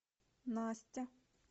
настя